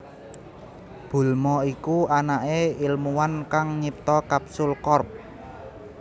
Bulma iku anaké ilmuwan kang nyipta Capsule Corp